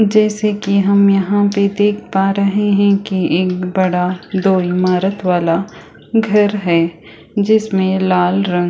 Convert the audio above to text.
जैसे की हम यहाँ पे देख पा रहे है की एक बड़ा दो ईमारत वाला घर है जिसमे लाल रंग--